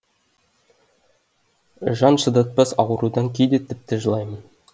жан шыдатпас аурудан кейде тіпті жылаймын